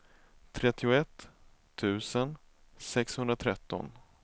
trettioett tusen sexhundratretton